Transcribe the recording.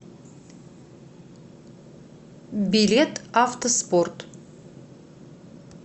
билет автоспорт